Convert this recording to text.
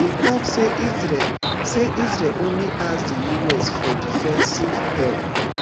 e tok say israel say israel only ask di us for defensive help